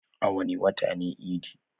A wani wata ne idi?